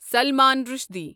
Salman Rushdie